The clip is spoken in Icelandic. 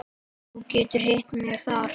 Þú getur hitt mig þar.